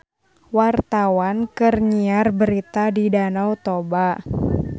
Wartawan keur nyiar berita di Danau Toba